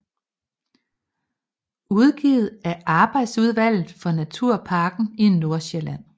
Udgivet af arbejdsudvalget for Naturparken i Nordsjælland